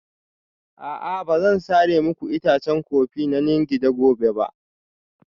A'a ba zan sare muku itacen kofi na Nganda gobe ba